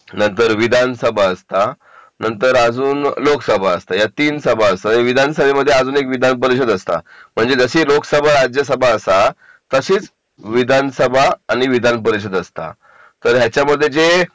नंतर विधानसभा असता नंतर अजून लोकसभा असता या तीन सभा असतात विधानसभेमध्ये अजून एक विधानपरिषद असता म्हणजे जशी लोकसभा राज्यसभा असा तशीच विधानसभा आणि विधानपरिषद असता तर याच्यामध्ये जे